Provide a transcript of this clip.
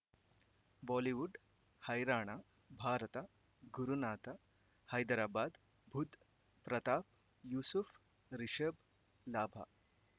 Bollywood ಹೈರಾಣ ಭಾರತ ಗುರುನಾಥ ಹೈದರಾಬಾದ್ ಬುಧ್ ಪ್ರತಾಪ್ ಯೂಸುಫ್ ರಿಷಬ್ ಲಾಭ